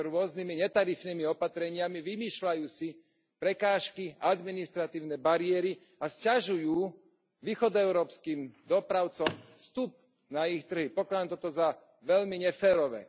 Robia to rôznymi netarifnými opatreniami, vymýšľajú si prekážky a administratívne bariéry a sťažujú východoeurópskym dopravcom vstup na ich trhy. Pokladám toto za veľmi neférové.